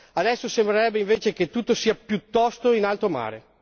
Adesso sembrerebbe invece che tutto sia piuttosto in alto mare.